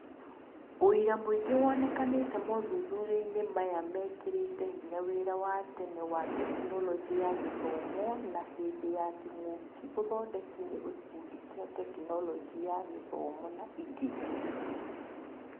ũira mũingĩ wonekanĩte mothuthuriainĩ maya mekĩrĩte hinya wĩra watene wa Tekinoronjĩ ya Gĩthomo na hĩndĩ ya kĩng'ũki ũthondeki nĩ gĩkundi kĩa Tekinoronjĩ ya Gĩthomo na ingĩ.